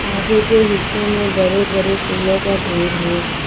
आगे के हिस्से में बड़े बड़े फूलों का ढेर है।